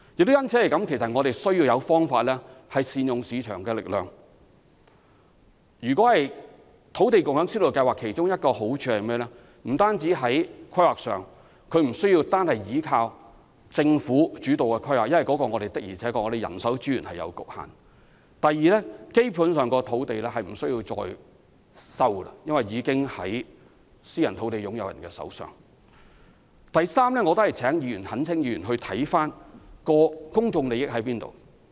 正因為如此，我們需要有方法善用市場力量，土地共享先導計劃其中一個好處是不需單單倚靠政府主導的規劃，因為我們的人手資源確實有限；第二，政府基本上不用收地，因為私人土地擁有人手上已有土地；第三，我懇請議員研究一下何謂公眾利益。